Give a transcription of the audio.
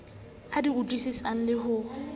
a di utlwisisang le ho